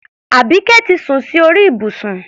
Àbíké ti sun sí orí ìbùsùn.